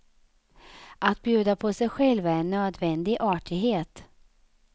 Att bjuda på sig själv är en nödvändig artighet.